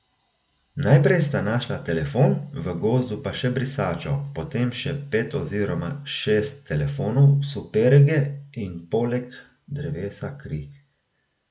Najprej sta našla telefon, v gozdu pa še brisačo, potem še pet oziroma šest telefonov, superge in poleg drevesa kri.